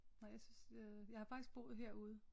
Nej jeg synes øh jeg har faktisk boet her ude